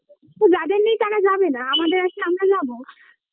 তো যাদের নেই তারা যাবে না আমাদের আছে আমরা যাব